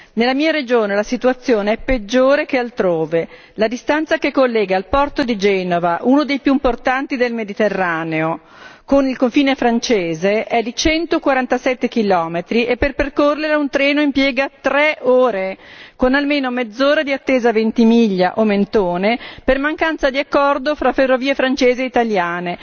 Nella mia regione la situazione è peggiore che altrove la distanza che collega il porto di Genova, uno dei più importanti del Mediterraneo, con il confine francese è di 147 km e per percorrerla un treno impiega tre ore, con almeno mezz'ora di attesa a Ventimiglia o a Mentone per mancanza di accordo fra ferrovie francesi e italiane.